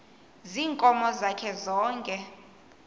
ziinkomo zakhe zonke